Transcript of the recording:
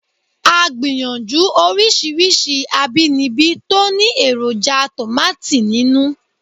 A gbìyànjú oríṣiríṣi àbínibí tó ní èròjà tòmátì nínú